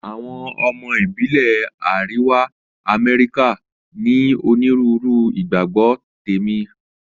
Àwọn ọmọ ìbílẹ̀ Àríwá Amẹ́ríkà ní onírúurú ìgbàgbọ́ tẹ̀mí.